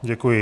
Děkuji.